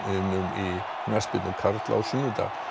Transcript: í knattspyrnu karla á sunnudag